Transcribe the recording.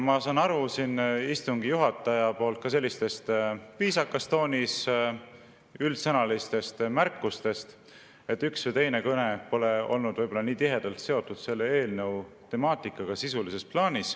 Ma saan aru ka istungi juhataja sellistest viisakas toonis üldsõnalistest märkustest, et üks või teine kõne pole ehk olnud sisulises plaanis selle eelnõu temaatikaga tihedalt seotud.